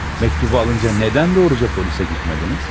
Mektubu alınca nədən doğruca polisə getmədiniz?